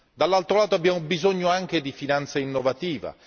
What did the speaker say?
Dall'altro lato, abbiamo bisogno anche di finanza innovativa.